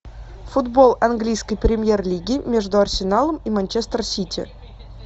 футбол английской премьер лиги между арсеналом и манчестер сити